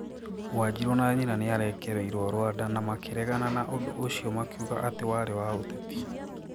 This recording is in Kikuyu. wanjiru na nyina nĩ arekereirio rwanda na makĩregana na ũndũ ũcio makiuga atĩ warĩ wa ũteti.